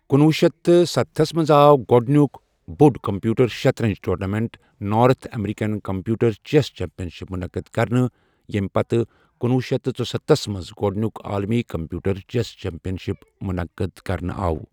کُنٛوُ شیٚتھ ستتھس منٛز آو گۄڈنیُک بوٚڑ کمپیوٹر شطرنج tournament, north American computer chess championship منعقد کرنہٕ، ییٚمہِ پتہٕ کنوُہ شتھ ژُستتھس منٛز گۄڈٕنیک عالمی کمپیوٹر چیس چیمپین شپ منعقد كرنہٕ آو ۔